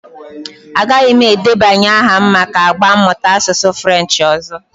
Agaghị m edebanye aha m maka agba mmụta asụsụ Frenchị ọzọ.